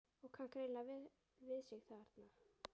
Og kann greinilega vel við sig þarna!